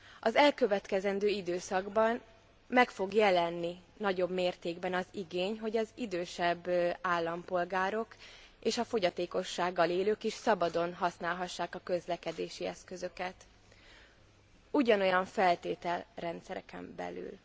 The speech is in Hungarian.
Az elkövetkezendő időszakban meg fog jelenni nagyobb mértékben az igény, hogy az idősebb állampolgárok és a fogyatékossággal élők is szabadon használhassák a közlekedési eszközöket, ugyanolyan feltételrendszereken belül.